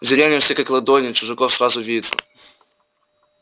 в деревнях все как на ладони чужаков сразу видно